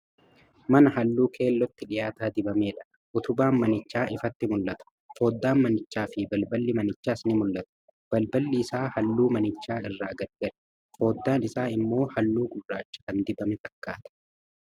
Mana Halluu keellootti dhiyaata dibamedha. Utubaan manichaa ifatti mul'ata. Foddaan manichaa fi balballi manichaas ni mul'atu. Balballi isaa halluu manichaa irraa gargari. Foddaan isaa immoo halluu gurraacha kan dibame fakkaata.